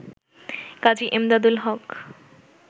কাজী Emdadul হক